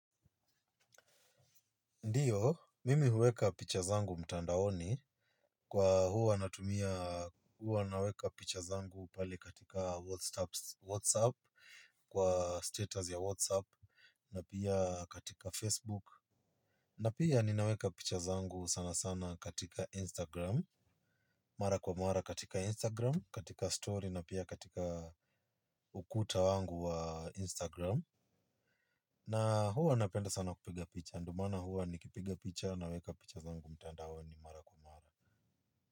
Ndiyo, mimi huweka picha zangu mtandaoni kwa huwa natumia huwa naweka picha zangu pale katika whatsapp kwa status ya whatsapp na pia katika Facebook. Na pia ninaweka picha zangu sana sana katika instagram. Mara kwa mara katika instagram, katika story na pia katika ukuta wangu wa instagram. Na huwa napenda sana kupiga picha ndo maana huwa nikipiga picha naweka picha zangu mtandaoni mara kwa mara.